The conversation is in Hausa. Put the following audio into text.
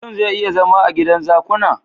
Mutun zai iya zama a gidan zakuna?